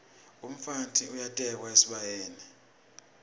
umfati uyatekwa esibayeni